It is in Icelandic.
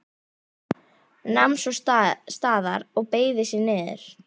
Nam svo staðar og beygði sig niður.